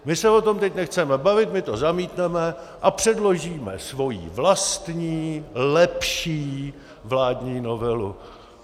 My se o tom teď nechceme bavit, my to zamítneme a předložíme svoji vlastní lepší vládní novelu.